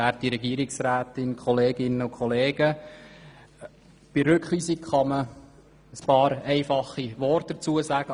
Zum Rückweisungsantrag kann man ein paar wenige einfache Worte sagen.